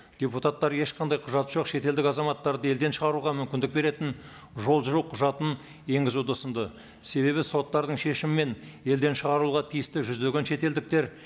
депутаттар ешқандай құжаты жоқ шетелдік азаматтарды елден шығаруға мүмкіндік беретін жол жүру құжатын енгізуді ұсынды себебі соттардың шешімімен елден шығаруға тиісті жүздеген шетелдіктер